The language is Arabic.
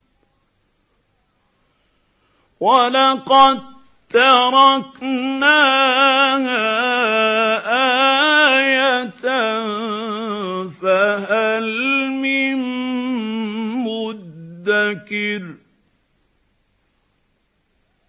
وَلَقَد تَّرَكْنَاهَا آيَةً فَهَلْ مِن مُّدَّكِرٍ